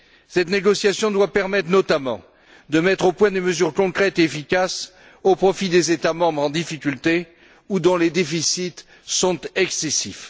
Cette négociation doit permettre notamment de mettre au point des mesures concrètes efficaces au profit des États membres en difficulté ou dont les déficits sont excessifs.